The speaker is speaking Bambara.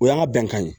O y'an ka bɛnkan ye